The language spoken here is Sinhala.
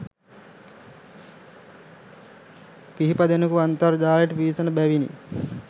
කිහිපදෙනෙකු අන්තර්ජාලයට පිවිසෙන බැවිනි